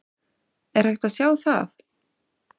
Er hægt að sjá það?